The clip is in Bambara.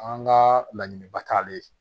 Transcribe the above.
An ka laɲiniba t'ale ye